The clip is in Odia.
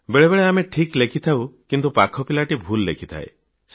ବେଳେବେଳେ ଆମେ ଠିକ୍ ଲେଖିଥାଉଁ କିନ୍ତୁ ପାଖ ପିଲାଟି ଭୁଲ୍ ଲେଖିଥାଏ